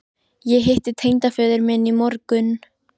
Ég hitti tengdaföður minn í morgun